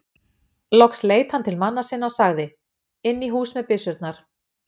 Loks leit hann til manna sinna og sagði:-Inn í hús með byssurnar.